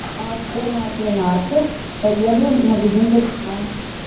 а школьная тринадцать поеду в магазин талисман